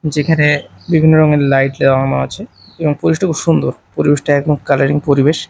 যেখানে বিভিন্ন রঙের লাইট লাগানো আছে এবং পরিবেশটা খুব সুন্দর পরিবেশটা একদম কালারিং পরিবেশ।